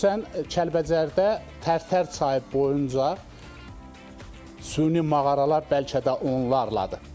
Xüsusən Kəlbəcərdə Tərtər çayı boyunca süni mağaralar bəlkə də onlarladır.